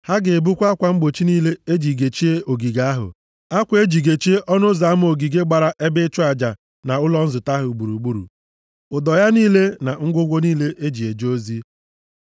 Ha ga-ebukwa akwa mgbochi niile e ji gechie ogige ahụ, akwa e ji gechie ọnụ ụzọ ama ogige gbara ebe ịchụ aja na ụlọ nzute ahụ gburugburu, ụdọ ya niile na ngwongwo niile e ji eje ozi.